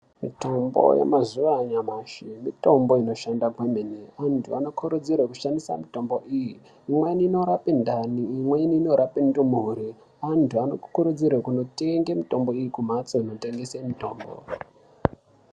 Mitombo yemazuva anyamashi mitombo inoshanda kwemene. Antu anokurudzirwa kushandisa mitombo iyi . Imweni inorape ndani, imweni inorape nxlondo. Annhu anokurudzirwe kunotenga mitombo iyi kumhatso unotengesa mitombo.